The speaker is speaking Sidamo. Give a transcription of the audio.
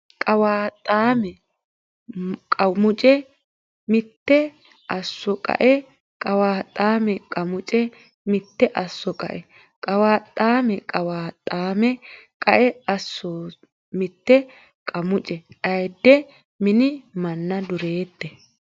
Qawaaxxaame Qamuce Mite Asso qae Qawaaxxaame Qamuce Mite Asso qae Qawaaxxaame Qawaaxxaame qae Asso Mite Qamuce Ayidde mini manna Dureette !